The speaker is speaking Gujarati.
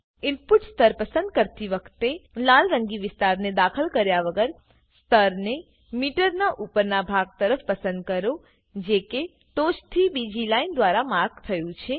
ઈનપુટ સ્તર પસંદ કરતી વખતે લાલ રંગી વિસ્તારને દાખલ કર્યા વગર સ્તરને મીટરના ઉપરના ભાગ તરફ પસંદ કરોજે કે ટોચથી બીજી લાઈન દ્વારા માર્ક થયું છે